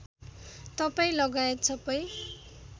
तपाईँ लगायत सबै